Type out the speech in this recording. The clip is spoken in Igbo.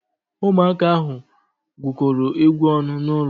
Ụmụaka ahụ gwukọrọ egwu ọnụ n'ụlọ.